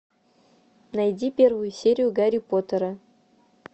найди первую серию гарри поттера